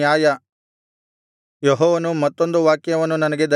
ಯೆಹೋವನು ಮತ್ತೊಂದು ವಾಕ್ಯವನ್ನು ನನಗೆ ದಯಪಾಲಿಸಿದನು